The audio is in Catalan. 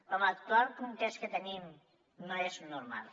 però l’actual context que tenim no és normal